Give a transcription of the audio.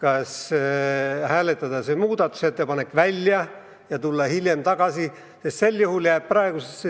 Me võime hääletada selle muudatusettepaneku välja ja tulla hiljem teema juurde tagasi.